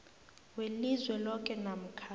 welizwe loke namkha